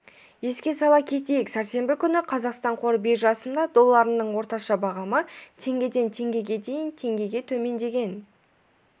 еске сала кетейік сәрсенбі күні қазақстан қор биржасында долларының орташа бағамы теңгеден теңгеге дейін теңгеге төмендеген